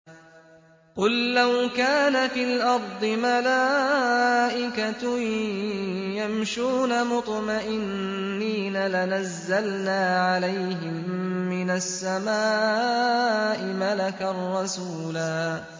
قُل لَّوْ كَانَ فِي الْأَرْضِ مَلَائِكَةٌ يَمْشُونَ مُطْمَئِنِّينَ لَنَزَّلْنَا عَلَيْهِم مِّنَ السَّمَاءِ مَلَكًا رَّسُولًا